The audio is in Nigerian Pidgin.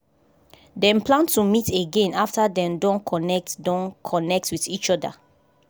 dem plan to meet again after dem don connect don connect with each other